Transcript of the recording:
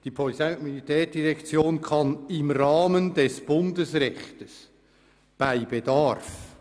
Die Polizei- und Militärdirektion kann in Rahmen des Bundesrechtes bei Bedarf…».